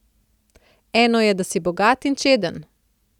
Eno je, da si bogat in čeden.